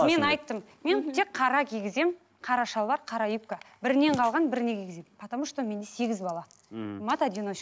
мен айттым мен тек қара кигіземін қара шалбар қара юбка бірінен қалған біріне кигіземін потому что менде сегіз бала мхм мать